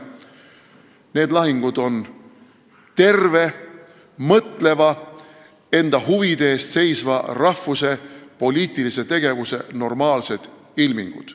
Need lahingud on terve, mõtleva, enda huvide eest seisva rahvuse poliitilise tegevuse normaalsed ilmingud.